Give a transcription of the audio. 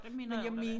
Det mener jeg der var